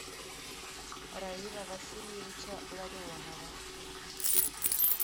раила васильевича ларионова